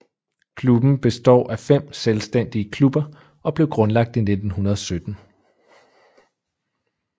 Klubben består af 5 selvstændige klubber og blev grundlagt i 1917